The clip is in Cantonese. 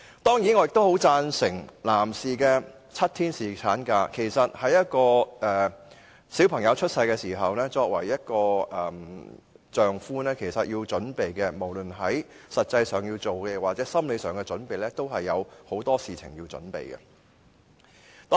當然，我也十分贊成男士的7天侍產假的建議，因為在孩子出生時，作為一名丈夫，無論是在實際上或心理上，也有很多事情要準備的。